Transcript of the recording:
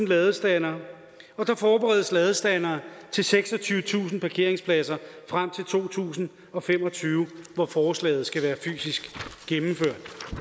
ladestandere og der forberedes ladestandere til seksogtyvetusind parkeringspladser frem til to tusind og fem og tyve hvor forslaget skal være fysisk gennemført